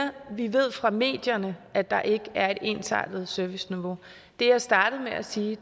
vi ved fra medierne at der ikke er et ensartet serviceniveau det jeg startede med at sige